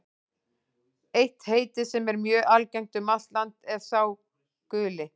Eitt heitið, sem er mjög algengt um allt land, er sá guli.